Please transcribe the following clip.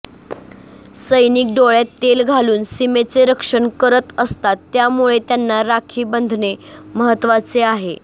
सैनिक डोळ्यात तेल घालून सीमेचे रक्षण करत असतात त्यामुळे त्यांना राखी बंधने महत्वाचे आहे